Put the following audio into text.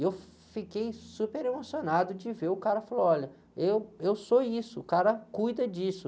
E eu fiquei super emocionado de ver o cara falar, olha, eu, eu sou isso, o cara cuida disso.